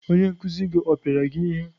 Onye nkuzi gị ọ pịara gị ihe?